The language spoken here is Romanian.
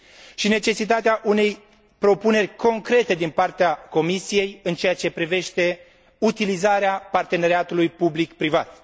și necesitatea unei propuneri concrete din partea Comisiei în ceea ce privește utilizarea parteneriatului public privat.